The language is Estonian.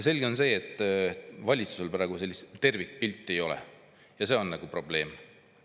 Selge on see, et valitsusel praegu tervikpilti ei ole, ja see on probleem.